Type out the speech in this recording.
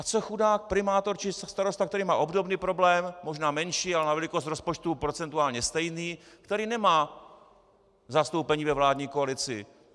A co chudák primátor či starosta, který má obdobný problém, možná menší, ale na velikost rozpočtu procentuálně stejný, který nemá zastoupení ve vládní koalici?